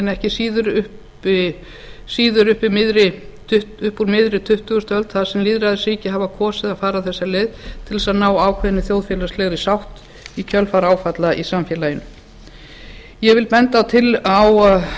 ekki síður upp úr miðri tuttugustu öld þar sem lýðræðisríki hafa kosið að fara þessa leið til að ná ákveðinni þjóðfélagslegri sátt í kjölfar áfalla í samfélaginu ég bendi á